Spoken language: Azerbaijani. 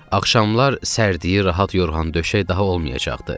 Axşamlar sərdi rahat yorğan döşək daha olmayacaqdı.